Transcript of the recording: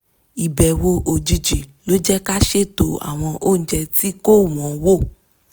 ìbẹ̀wò òjijì ló jẹ́ ká a ṣètò àwọn oúnjẹ tí kò wọ́nwó